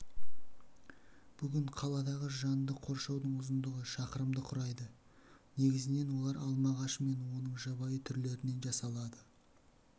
бүгін қаладағы жанды қоршаудың ұзындығы шақырымды құрайды негізінен олар алма ағашы мен оның жабайы түрлерінен жасалады